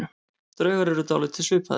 Draugar eru dálítið svipaðir.